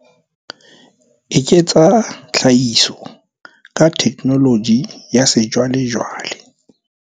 Eketsa tlhahiso ka theknoloji ya sejwalejwale.